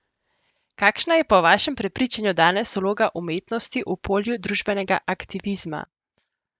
Kakšna je po vašem prepričanju danes vloga umetnosti v polju družbenega aktivizma?